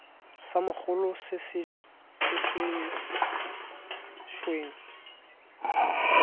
sa mogolo sa se weng